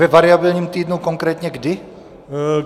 Ve variabilním týdnu konkrétně kdy?